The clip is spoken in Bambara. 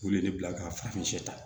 K'u ye ne bila ka farafin ta